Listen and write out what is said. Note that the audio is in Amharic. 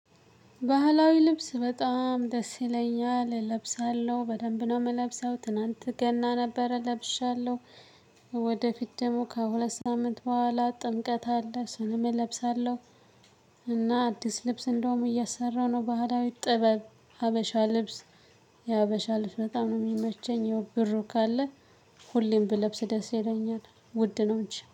ባህላዊ ልብስ በጣም ደስ ይለኛል እለብሳለሁ በደንብ ነው የምንለብሰው ትላንት ገና ነበር ለብሻለሁ። ወደፊት ደግሞ ከሁለት ሳምንት በኃላ ጥምቀት አለ እሱንም እለብሳለሁ። እና አዲስ ልብስ እንደውም እያሰራሁ ነው። ባህላዊ ጥብ ሀበሻ ልብስ የሀበሻ ልብስ በጣም ነው ሚመቸኝ። ያው ብር ካለ። ሁሌም ብለብስ ደስ ይለኛል። ውድ ነው እንጂ